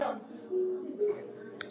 Dögun getur átt við